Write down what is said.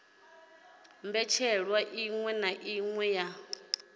mbetshelwa iṅwe na iṅwe ya